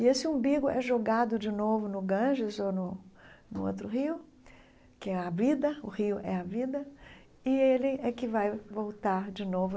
E esse umbigo é jogado de novo no Ganges ou no no outro rio, que é a vida, o rio é a vida, e ele é que vai voltar de novo